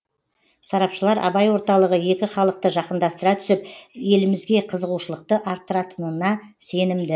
сарапшылар абай орталығы екі халықты жақындастыра түсіп елімізге қызығушылықты арттыратынына сенімді